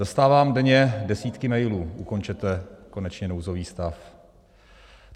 Dostávám denně desítky mailů: ukončete konečně nouzový stav.